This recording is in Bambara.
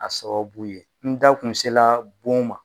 A sababu ye n da kun sera bon ma